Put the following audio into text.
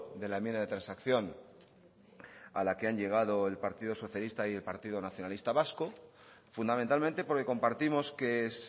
de la enmienda de transacción a la que han llegado el partido socialista y el partido nacionalista vasco fundamentalmente porque compartimos que es